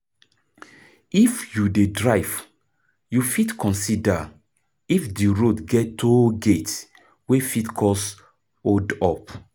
If you dey drive, you fit consider if di road get toll gate wey fit cause hold up